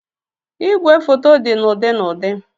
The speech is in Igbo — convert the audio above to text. Ìgwè foto dị na ụdị na ụdị.